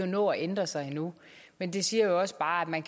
nå at ændre sig endnu men det siger jo også bare at man